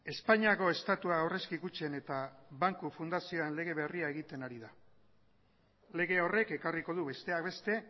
espainiako estatua aurrezki kutxen eta banku fundazioen lege berria egiten ari da lege horrek ekarriko du besteak beste